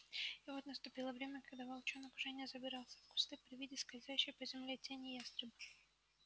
и вот наступило время когда волчонок уже не забирался в кусты при виде скользящей по земле тени ястреба